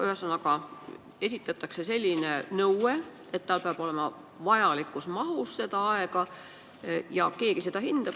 Ühesõnaga, on nõue, et juhil peab aega olema vajalikus mahus, ja keegi seda hindab.